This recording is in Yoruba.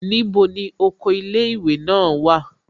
Níbo ni oko ilé ìwé náà wà?